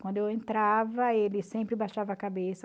Quando eu entrava, ele sempre baixava a cabeça.